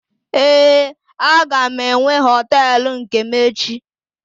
Ee, aga m enwe hoteelu nke m echi.